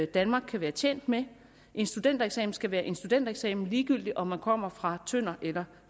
danmark kan være tjent med en studentereksamen skal være en studentereksamen ligegyldigt om man kommer fra tønder eller